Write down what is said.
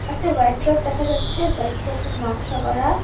একটা white drop দেখা যাচ্ছে হোয়াইড ড্রপটার নকশা করা।